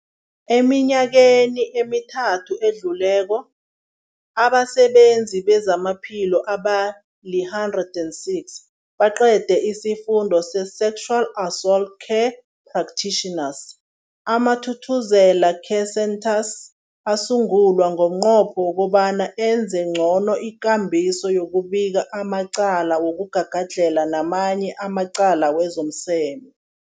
Eminyakeni emithathu edluleko, abasebenzi bezamaphilo abali-106 baqede isiFundo se-Sexual Assault Care Practitioners. AmaThuthuzela Care Centres asungulwa ngomnqopho wokobana enze ngcono ikambiso yokubika amacala wokugagadlhela namanye amacala wezomseme.